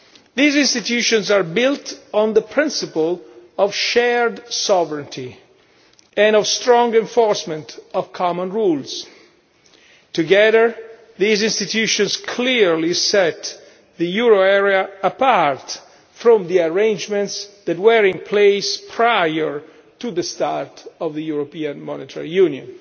These institutions are built on the principle of shared sovereignty and of strong enforcement of common rules. Together, these institutions clearly set the euro area apart from the arrangements that were in place prior to the start of the European Monetary Union.